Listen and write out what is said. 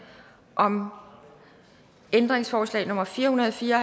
om ændringsforslag nummer fire hundrede og fire og